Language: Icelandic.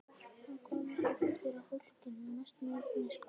Hann kom aftur fullur af fólki, mestmegnis konum.